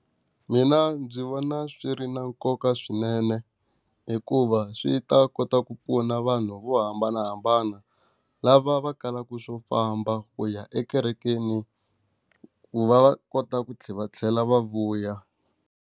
Mina ndzi vona swi ri na nkoka swinene hikuva swi ta kota ku pfuna vanhu vo hambanahambana, lava va kalaka swo famba ku ya ekerekeni ku va va kota ku tlhela va tlhela va vuya.